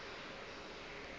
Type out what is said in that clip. o ile go fetša go